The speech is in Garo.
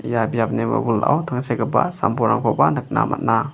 ia biapni wilwilao tangsekgipa sam-bolrangkoba nikna man·a.